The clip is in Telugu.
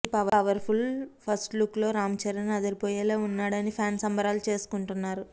ఈ పవర్ ఫుల్ ఫస్ట్ లుక్ లో రాంచరణ్ అదిరిపోయేలా ఉన్నాడని ఫ్యాన్స్ సంబరాలు చేసుకుంటున్నారు